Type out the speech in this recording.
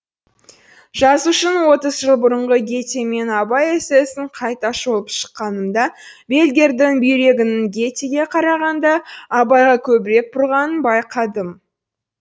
жазушының отыз жыл бұрынғы гете мен абай эссесін қайта шолып шыққанымда бельгердің бүйрегінің гетеге қарағанда абайға көбірек бұрғанын байқадым